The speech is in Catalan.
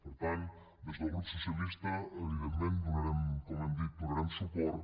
per tant des del grup socialista evidentment com hem dit hi donarem suport